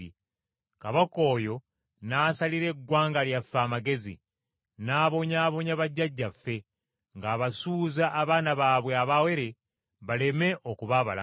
Kabaka oyo n’asalira eggwanga lyaffe amagezi, n’abonyaabonya bajjajjaffe, ng’abasuuza abaana baabwe abawere baleme okuba abalamu.